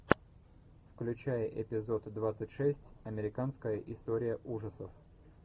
включай эпизод двадцать шесть американская история ужасов